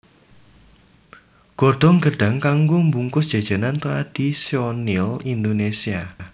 Godhong gêdhang kanggo mbungkus jajanan tradhisonal Indonésia